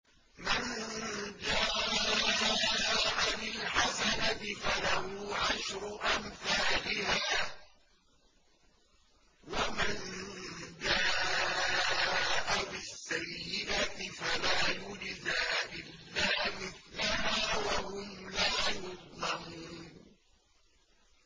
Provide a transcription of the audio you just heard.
مَن جَاءَ بِالْحَسَنَةِ فَلَهُ عَشْرُ أَمْثَالِهَا ۖ وَمَن جَاءَ بِالسَّيِّئَةِ فَلَا يُجْزَىٰ إِلَّا مِثْلَهَا وَهُمْ لَا يُظْلَمُونَ